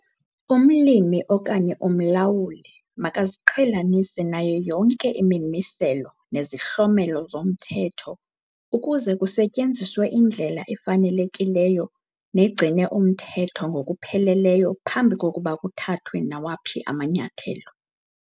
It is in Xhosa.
Umlimi okanye umlawuli makaziqhelanise nayo yonke imimiselo nezihlomelo zomthetho ukuze kusetyenziswe indlela efanelekileyo negcine umthetho ngokupheleleyo phambi kokuba kuthathwe nawaphi amanyathelo.